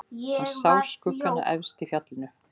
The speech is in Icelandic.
Hann sá skuggana efst í fjallinu.